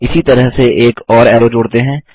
इसी तरह से एक और ऐरो जोड़ते हैं